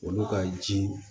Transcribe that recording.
Olu ka ji